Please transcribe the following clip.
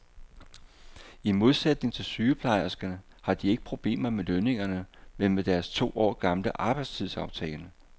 I modsætning til sygeplejerskerne har de ikke problemer med lønningerne, men med deres to år gamle arbejdstidsaftale.